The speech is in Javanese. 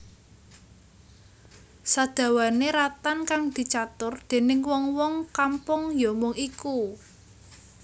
Sadawane ratan kang dicatur déning wong wong kampung ya mung iku